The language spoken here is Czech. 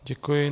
Děkuji.